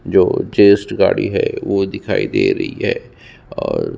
जो जेस्ट गाड़ी है वो दिखाई दे रही है और --